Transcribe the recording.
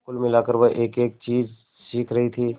कुल मिलाकर वह एकएक चीज सीख रही थी